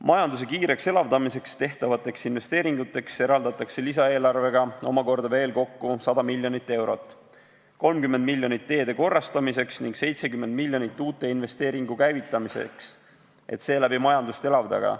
Majanduse kiireks elavdamiseks tehtavateks investeeringuteks eraldatakse lisaeelarvega omakorda kokku veel 100 miljonit eurot: 30 miljonit teede korrastamiseks ning 70 miljonit uute investeeringute käivitamiseks, et seeläbi majandust elavdada.